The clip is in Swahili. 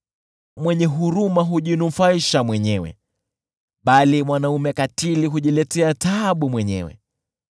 Mwenye huruma hujinufaisha mwenyewe, bali mkatili hujiletea taabu mwenyewe.